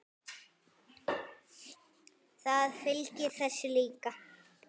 Það fylgir þessu líka.